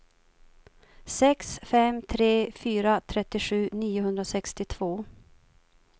sex fem tre fyra trettiosju niohundrasextiotvå